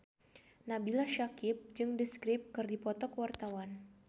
Nabila Syakieb jeung The Script keur dipoto ku wartawan